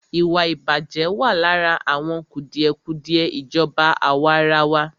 Ìwàìbàjẹ́ wà lára àwọn kùdìẹ̀kùdìẹ ìjọba àwàrawa.